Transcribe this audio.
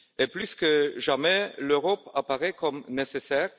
Plus que jamais, l'Europe apparaît comme nécessaire